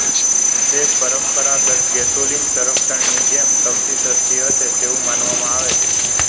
તે પરંપરાગત ગેસોલીન સંસ્કરણની જેમ સૌથી સસ્તી હશે તેવું માનવામાં આવે છે